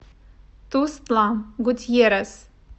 тустла гутьеррес